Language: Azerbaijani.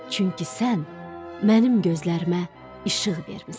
Çünki sən mənim gözlərimə işıq vermisən.”